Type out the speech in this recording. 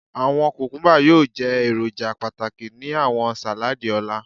Awọn kukumba yoo jẹ eroja pataki ni awọn saladi ọla